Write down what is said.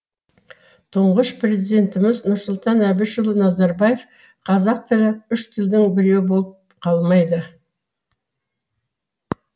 тұңғыш президентіміз нұрсұлтан әбішұлы назарбаев қазақ тілі үш тілдің біреуі болып қалмайды